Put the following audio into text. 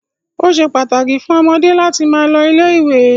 Ó ṣe pàtàkì fún ọmọdé láti máa lọ ilé-ìwé.